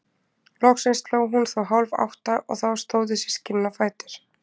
Loksins sló hún þó hálf átta og þá stóðu systkinin á fætur.